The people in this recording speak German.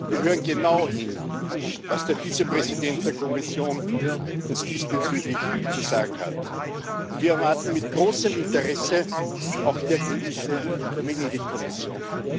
Wir hören genau hin, was der Vizepräsident der Kommission uns diesbezüglich zu sagen hat, und wir erwarten mit großem Interesse auch die Ergebnisse der Venedig Kommission.